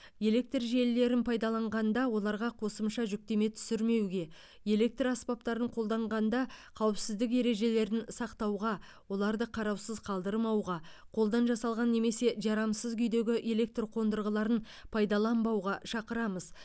электр желілерін пайдаланғанда оларға қосымша жүктеме түсірмеуге электр аспаптарын қолданғанда қауіпсіздік ережелерін сақтауға оларды қараусыз қалдырмауға қолдан жасалған немесе жарамсыз күйдегі электр қондырғыларын пайдаланбауға шақырамыз